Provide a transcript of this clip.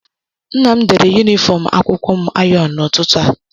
Nna m dere yunifọm akwụkwọ m ayọnụ n'ụtụtụ a